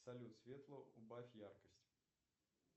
салют светло убавь яркость